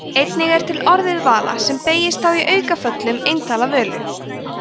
einnig er til orðið vala sem beygist þá í aukaföllum eintala völu